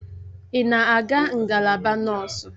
Ị na-aga ngalaba nọọsụ?